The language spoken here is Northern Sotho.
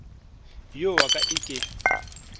yo wa ka e ke